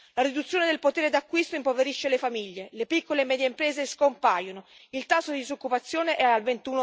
La riduzione del potere d'acquisto impoverisce le famiglie, le piccole e medie imprese scompaiono, il tasso di disoccupazione è al